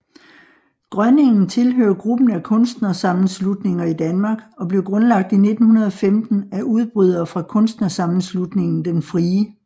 Grønningen tilhører gruppen af kunstnersammenslutninger i Danmark og blev grundlagt i 1915 af udbrydere fra kunstnersammenslutningen Den Frie